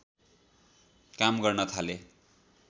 काम गर्न थाले